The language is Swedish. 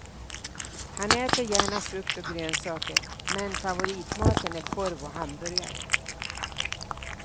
Han äter gärna frukt och grönsaker men favoritmaten är korv och hamburgare.